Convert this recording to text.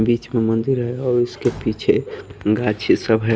बीच में मंदिर है और उसके पीछे सब हैं।